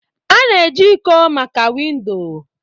A na-eji iko maka windo